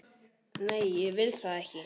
Nei, ég vil það ekki.